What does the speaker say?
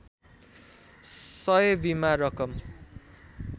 सय बिमा रकम